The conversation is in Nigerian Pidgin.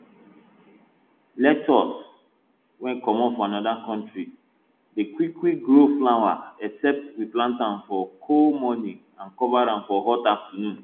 lettoss wey comot from anoda country dey quick quick grow flower except we plant am for cool morning and cover am for hot afternoon